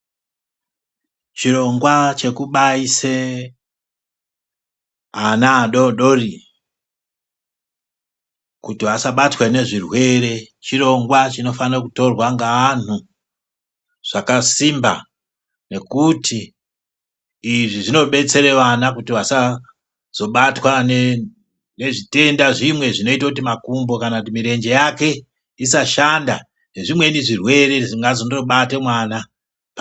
Chirongwa chekubaise ana adodori, kuti asabatwe nezvirwere, chirongwa chinofane kutorwa ngeanhu zvakasimba nokuti izvi zvinobetsere vana kuti vasazobatwa nezvitenda zvimwe zvinoite kuti makumbo kana mirenje yake, isashanda nezvimweni zvirwere zvingandobate mwana.